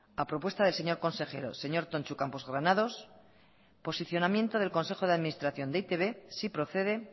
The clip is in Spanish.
a propuesta del señor consejero señor tontxu campos granados posicionamiento del consejo de administración de e i te be sí procede